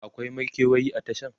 akwai makewayi a Tashan?